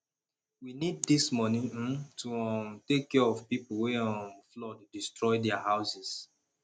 we need dis money um to um take care of the people wey um flood destroy their houses